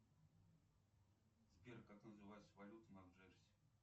сбер как называется валюта на джерси